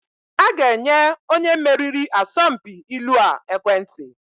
A ga-enye onye meriri asọmpi ilu a ekwentị.